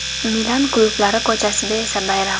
Milan klublari ko‘chasida esa bayram.